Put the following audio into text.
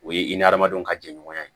O ye i ni adamadenw ka jɛɲɔgɔnya ye